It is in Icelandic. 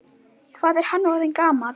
Hvað er hann orðinn gamall?